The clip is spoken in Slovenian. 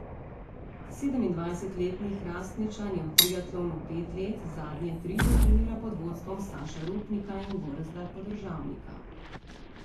Sedemindvajsetletni Hrastničan je v triatlonu pet let, zadnje tri pa trenira pod vodstvom Saša Rupnika in Gorazda Podržavnika.